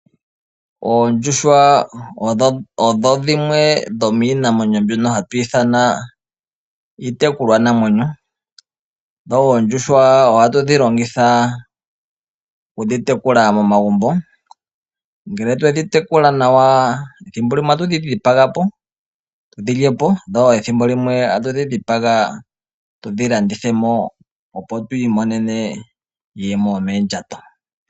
Oondjuhwa odho dhimwe dhomiinamwenyo mbyono hatu ithana iitekulwa namwenyo. Dho oondjuhwa ohatu dhi longitha oku dhi tekula momagumbo. Ngele twe dhi tekula nawa, ethimbo limwe ota tu dhi dhipaga po, tu dhi lyepo, dho ethimbo limwe ota tu dhi dhipaga tu dhi landithe mo, opo tu imonene iiyemo yomoondjato.